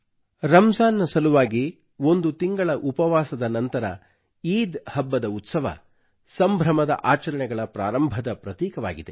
ರಮ್ಜಾನ್ ನ ಸಲುವಾಗಿ ಒಂದು ತಿಂಗಳ ಉಪವಾಸದ ನಂತರ ಈದ್ ಹಬ್ಬದ ಉತ್ಸವ ಸಂಭ್ರಮದ ಆಚರಣೆಗಳ ಪ್ರಾರಂಭದ ಪ್ರತೀಕವಾಗಿದೆ